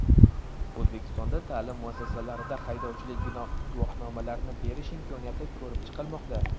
O‘zbekistonda ta’lim muassasalarida haydovchilik guvohnomalarini berish imkoniyati ko‘rib chiqilmoqda.